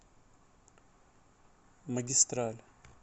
магистраль